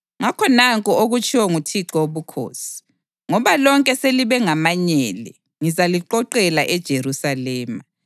Ngakho nanku okutshiwo nguThixo Wobukhosi: ‘Ngoba lonke selibe ngamanyele, ngizaliqoqela eJerusalema.